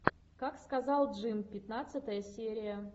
как сказал джим пятнадцатая серия